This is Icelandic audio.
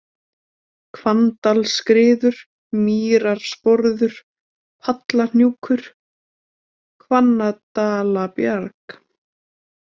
Hvanndalaskriður, Mýrarsporður, Pallahnjúkur, Hvanndalabjarg